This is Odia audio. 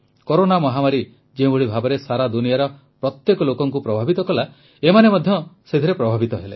କରୋନା ମହାମାରୀ ଯେଉଁଭଳି ଭାବେ ସାରା ଦୁନିଆର ପ୍ରତ୍ୟେକ ଲୋକକୁ ପ୍ରଭାବିତ କଲା ଏମାନେ ମଧ୍ୟ ସେଥିରେ ପ୍ରଭାବିତ ହେଲେ